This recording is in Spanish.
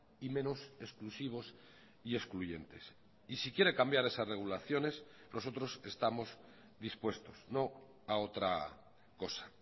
y menos exclusivos y excluyentes y si quiere cambiar esas regulaciones nosotros estamos dispuestos no a otra cosa